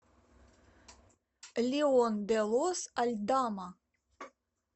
леон де лос альдама